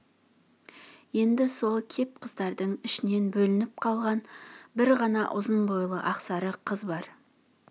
енді сол кеп қыздардың ішінен бөлініп қалған бір ғана ұзын бойлы ақсары қыз бар